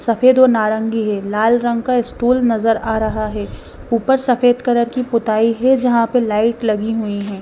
सफेद और नारंगी है लाल रंग का स्टूल नज़र आ रहा है ऊपर सफेद कलर की पुताई है जहाँ पर लाइट लगी हुईं हैं।